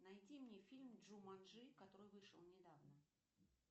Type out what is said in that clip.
найди мне фильм джуманджи который вышел недавно